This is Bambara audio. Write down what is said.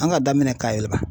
An ka daminɛ ka yɛlɛma.